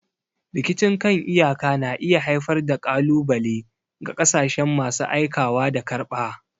Rikicin kan iyaka na iya haifar da ƙalubale ga ƙasashen masu aikawa da karɓa.